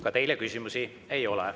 Ka teile küsimusi ei ole.